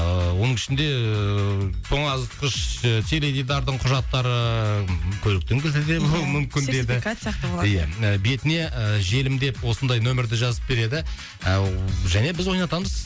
ыыы оның ішінде тоңазытқыш ы теледидардың құжаттары көліктің кілті де болуы мүмкін деді сертификат сияқты болады иә бетіне желімдеп осындай нөмірді жазып береді ыыы және біз ойнатамыз